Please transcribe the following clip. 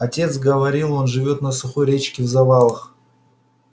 отец говорил он живёт на сухой речке в завалах